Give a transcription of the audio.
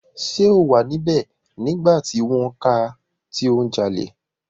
Ṣé o wà níbẹ̀ nígbà tí wọ́n ká a tí ó ń jalè?